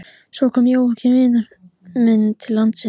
Svo kom Jóakim vinur minn til landsins.